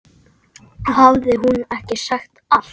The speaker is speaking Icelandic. Hafði hún ekki sagt allt?